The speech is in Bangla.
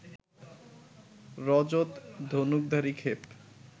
রজত ধনুকধারি ক্ষেপ